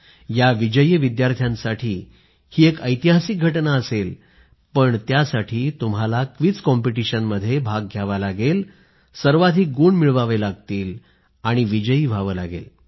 या विजयी विद्यार्थ्यांसाठी ही एक ऐतिहासिक घटना असेलपण त्यासाठी तुम्हाला क्विझ कॉम्पिटिशनमध्ये भाग घ्यावा लागेल सर्वाधिक गुण मिळवावे लागतीलआपल्याला विजयी व्हावं लागेल